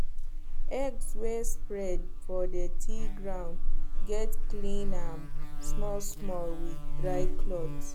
eggs wey spread for dirty ground gats clean am smallsmall with dry cloth